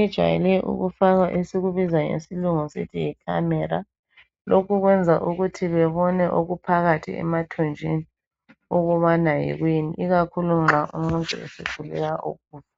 ijwayele ukufakwa esikubiza ngesilungu sisithi yi camera lokho kuyenza ukuthi bebone okuphakathi emathunjwini ukubana yikuyini ikakhulu nxa umuntu esehluleka ukudla